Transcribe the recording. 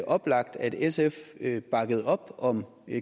oplagt at sf sf bakkede op om